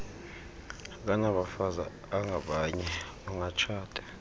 akanabafazi abangabanye ungatshata